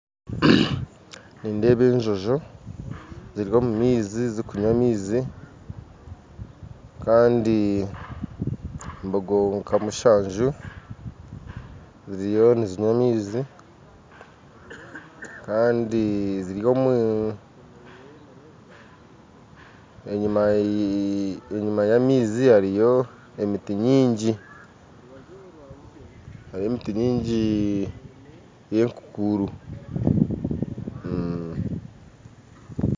Nindeeba enjojo ziri omu maizi zikunywa amaizi kandi mbogo nka musanju ziriyo nizinywa amaizi kandi ziri omu enyuma ya maizi hariyo emiti nyingi hariyo emiti nyingi eya enkukuru